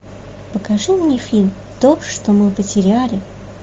покажи мне фильм то что мы потеряли